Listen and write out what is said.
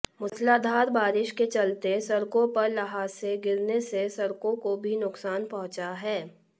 मूसलाधार बारिश के चलते सड़कों पर ल्हासे गिरने से सड़कों को भी नुकसान पहुंचा है